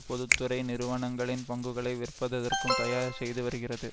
பொது துறை நிறுவனங்களின் பங்குளை விற்பததற்கும் தயார் செய்து வருகிறது